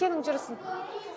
сенің жүрісің